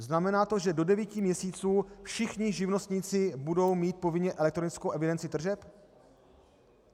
Znamená to, že do devíti měsíců všichni živnostníci budou mít povinně elektronickou evidenci tržeb?